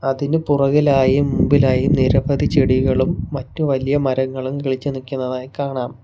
അതിനു പുറകിലായും മുൻപിലായും നിരവധി ചെടികളും മറ്റു വലിയ മരങ്ങളും കിളിച്ചു നിൽക്കുന്നതായി കാണാം.